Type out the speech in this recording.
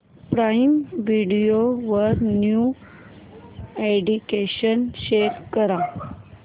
prime video वरील new additions show कर